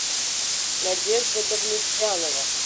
надежда давлетзянова